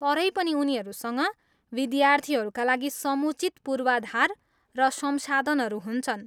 तरै पनि उनीहरूसँग विद्यार्थीहरूका लागि समुचित पूर्वाधार र संसाधनहरू हुन्छन्।